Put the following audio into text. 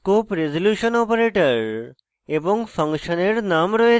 scope resolution operator এবং ফাংশনের name রয়েছে